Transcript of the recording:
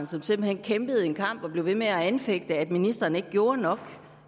som simpelt hen kæmpede en kamp og blev ved med at anfægte at ministeren ikke gjorde nok